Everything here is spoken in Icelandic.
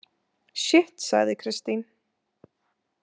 Sjitt, sagði Kristín.